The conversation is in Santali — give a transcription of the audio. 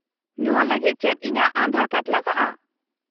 -ᱱᱚᱶᱟ ᱞᱟᱹᱜᱤᱫ ᱪᱮᱫ ᱤᱧᱟᱹᱜ ᱟᱫᱷᱟᱨ ᱠᱟᱨᱰ ᱞᱟᱜᱟᱜᱼᱟ ?